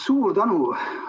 Suur tänu!